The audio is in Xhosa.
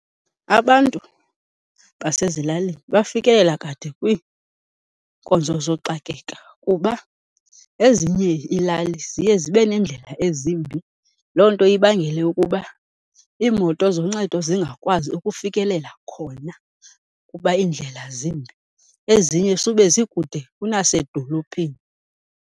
Abantu basezilalini bafikelela kade kwiinkonzo zooxakeka kuba ezinye iilali ziye zibe neendlela ezimbi, loo nto ibangele ukuba iimoto zoncedo zingakwazi ukufikelela khona kuba iindlela zimbi. Ezinye sube zikude kunasedolophini.